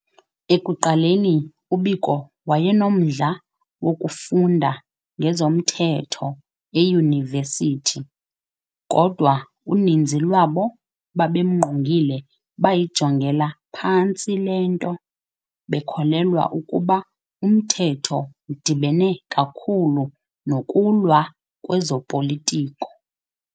Ekuqaleni u-Biko wayenomdla wokufunda ngezomthetho eyunivesithi, kodwa uninzi lwabo babemngqongile bayijongela phantsi lento, bekholelwa ukuba umthetho udibene kakhulu nokulwa kwezopolitiko.